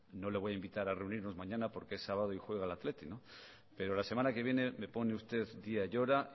no le voy a invitar a reunirnos mañana porque es sábado y juego el athletic pero la semana que viene me pone usted día y hora